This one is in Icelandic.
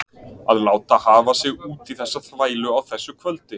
Að láta hafa sig út í þessa þvælu á þessu kvöldi.